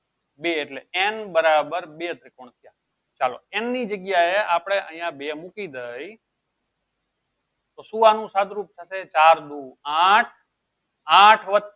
બે એટલે n બરાબર બે ત્રિકોણ થયા ચાલો એમની જગ્યાએ આપણે અહીંયા બે મૂકી દઈ તો સુ આનું સાદુરૂપ થશે ચાર દુ આઠ આઠ વત્તા